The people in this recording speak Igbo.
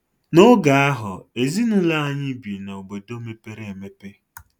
N'oge ahụ, Ezinụlọ anyị bi n'obodo mepere emepe.